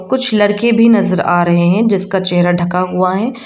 कुछ लड़के भी नजर आ रहे हैं जिसका चेहरा ढका हुआ है।